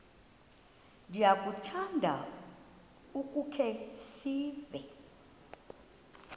ndiyakuthanda ukukhe ndive